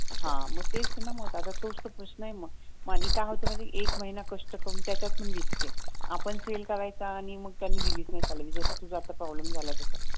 हां तेच तर ना मग आता तोच तर प्रश्न आहे ना मग आणि काय होत माहित आहे का एक महिना कष्ट करून त्याच्यात पण रिस्क आहे आपण सेल करायचा आणि त्यांनी रिलीज नाही करायचं जसा तुझा आता प्रॉब्लेम झाला तस